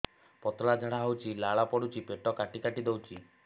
ପତଳା ଝାଡା ହଉଛି ଲାଳ ପଡୁଛି ପେଟ କାଟି କାଟି ଦଉଚି